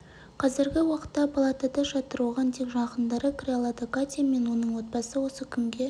қазіргі уақытта палатада жатыр оған тек жақындары кіре алады катя мен оның отбасы осы күнге